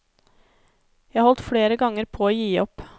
Jeg holdt flere ganger på å gi opp.